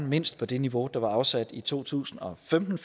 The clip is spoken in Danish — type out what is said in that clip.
mindst det niveau der var afsat i to tusind og femten